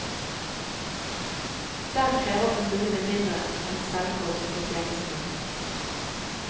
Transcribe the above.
Der krever kommunene mindre enn selvkost for tjenestene.